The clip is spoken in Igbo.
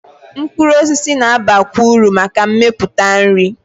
Mkpụrụ osisi na-abakwa uru maka mmepụta nri.